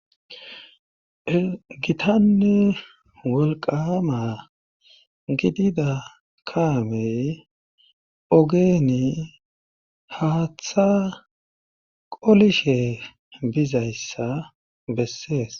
gitanne wolqama gidida kaamey ogeeni haaththa qolishe bizayssa bessees